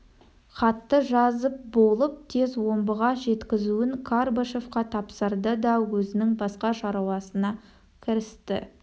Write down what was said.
хатты жазып болып тез омбыға жеткізуін карбышевқа тапсырды да өзінің басқа шаруасына кірісті